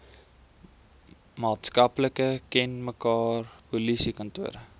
maatskaplike kenmerke polisiekantore